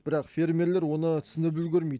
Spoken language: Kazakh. бірақ фермерлер оны түсініп үлгермейді